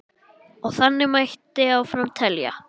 Og þannig mætti áfram telja.